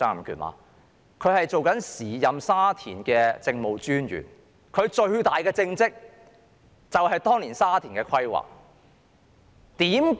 他是時任沙田政務專員，其最大政績便是當年對沙田的規劃。